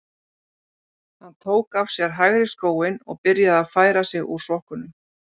Hann tók af sér hægri skóinn og byrjaði að færa sig úr sokknum.